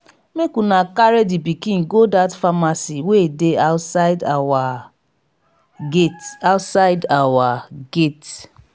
make una carry the pikin go dat pharmacy wey dey outside our gate outside our gate